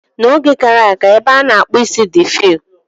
N'oge gara aga, ebe a na-akpụ isi dị few.